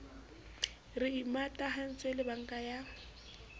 re imatahantse le banka ya